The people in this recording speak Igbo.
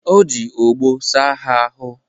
O ji ogboo saa ha ahụ.